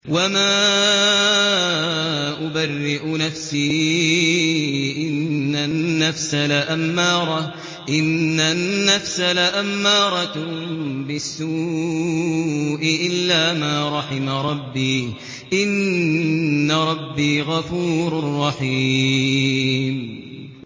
۞ وَمَا أُبَرِّئُ نَفْسِي ۚ إِنَّ النَّفْسَ لَأَمَّارَةٌ بِالسُّوءِ إِلَّا مَا رَحِمَ رَبِّي ۚ إِنَّ رَبِّي غَفُورٌ رَّحِيمٌ